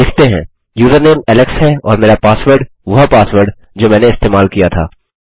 लिखते हैं username Alex है और मेरा पासवर्ड वह पासवर्ड जो मैंने इस्तेमाल किया था